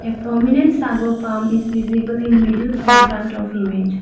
prominent sago palm is visible in middle foreground of image.